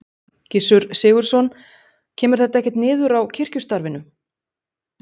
Gissur Sigurðsson: Kemur þetta ekkert niður á kirkjustarfinu?